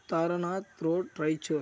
Taranath road Raichur.